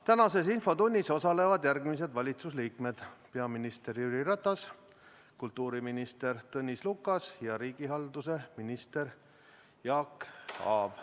Tänases infotunnis osalevad järgmised valitsuse liikmed: peaminister Jüri Ratas, kultuuriminister Tõnis Lukas ja riigihalduse minister Jaak Aab.